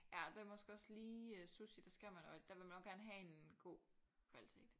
Ja det er måske også lige sushi det skal man og der vil man nok gerne have en god kvalitet